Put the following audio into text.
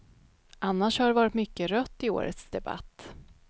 Annars har det varit mycket rött i årets debatt.